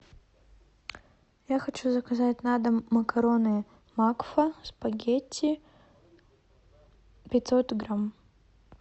я хочу заказать на дом макароны макфа спагетти пятьсот грамм